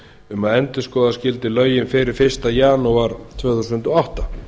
um að endurskoða skyldi lögin fyrir fyrsta janúar tvö þúsund og átta